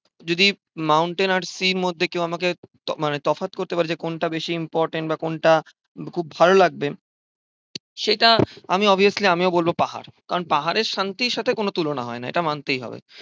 যদি মাউন্টেন আর সির মধ্যে কেউ আমাকে মানে তফাৎ করতে বলে যে, কোনটা বেশি ইম্পরট্যান্ট বা কোনটা খুব ভালো লাগবে? সেটা আমি অবভিয়াসলি আমিও বলবো পাহাড়। কারণ পাহাড়ের শান্তির সাথে কোন তুলনা হয় না এটা মানতেই হবে।